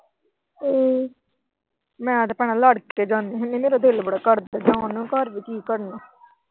ਮੈਂ ਤਾਂ ਭੈਣਾ ਲੜ ਕੇ ਜਾਂਦੀ ਸੀ ਮੇਰਾ ਤਾਂ ਦਿਲ ਬੜਾ ਘਟਦਾ, ਜਾਨ ਨੂੰ ਘਰ ਵੀ ਕੀ ਕਰਨਾ।